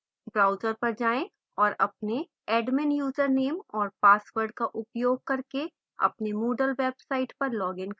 browser पर जाएँ और अपने admin username और password का उपयोग करके अपने moodle website पर login करें